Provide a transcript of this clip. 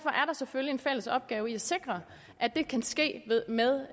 selvfølgelig en fælles opgave i at sikre at det kan ske med